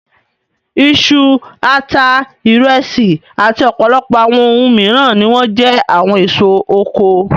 Iṣu, ata, ìrẹsì àti ọ̀pọ̀lọpọ̀ àwọn ohun mìíràn ni wọ́n jẹ́ àwọn èso oko.